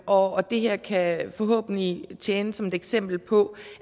og det her kan forhåbentlig tjene som et eksempel på